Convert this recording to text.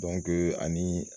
Dɔnke anii